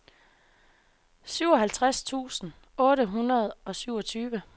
syvoghalvtreds tusind otte hundrede og syvogtyve